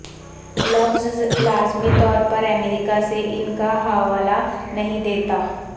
لفظ لازمی طور پر امریکہ سے ان کا حوالہ نہیں دیتا